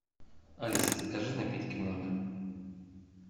алиса закажи напитки в номер